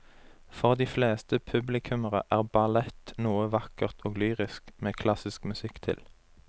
For de fleste publikummere er ballett noe vakkert og lyrisk med klassisk musikk til.